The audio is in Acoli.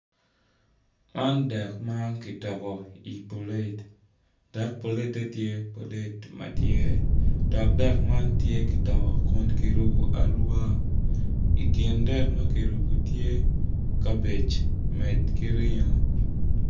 Man dek ma kitoko i pilate dok dek ma kitoko tye kirubo aruba dok tye kabej ki ringo.